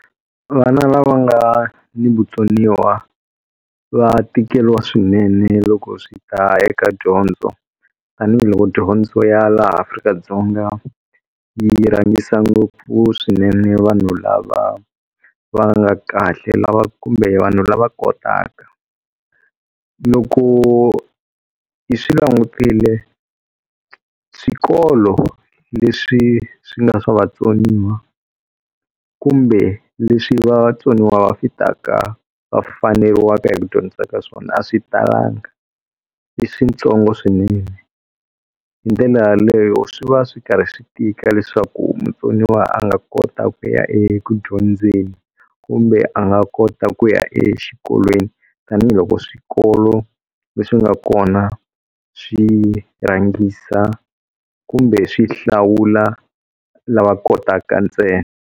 Vana lava nga ni vutsoniwa va tikeliwa swinene loko swi ta eka dyondzo tanihiloko dyondzo ya laha Afrika-Dzonga yi rhangisa ngopfu swinene vanhu lava va nga kahle lava kumbe vanhu lava kotaka. Loko hi swi langutile, swikolo leswi swi nga swa vatsoniwa kumbe leswi vatsoniwa va fitaka va faneriwaka hi ku dyondzisa ka swona a swi talanga, i switsongo swinene. Hi ndlela yaleyo swi va swi karhi swi tika leswaku mutsoniwa a nga kota ku ya eku dyondzeni kumbe a nga kota ku ya exikolweni tanihiloko swikolo leswi nga kona swi rhangisa kumbe swi hlawula lava kotaka ntsena.